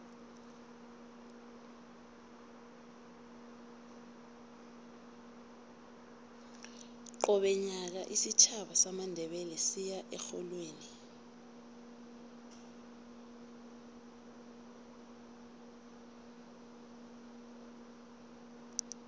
qobe nyaka isitjhaba samandebele siya erholweni